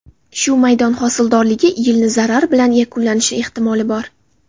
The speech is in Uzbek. Shu maydon hosildorligi yilni zarar bilan yakunlashi ehtimoli bor.